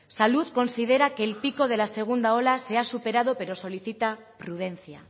salud considera que el pico de la segunda ola se ha superado pero solicita prudencia